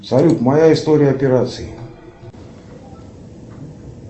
салют моя история операций